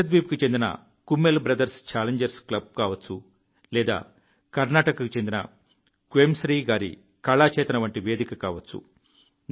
లక్షద్వీప్ కు చెందిన Kummel brothers challengers club కావచ్చు లేదా కర్ణాటక కు చెందిన క్వెమ్శ్రీ గారి కళా చేతన వంటి వేదిక కావచ్చు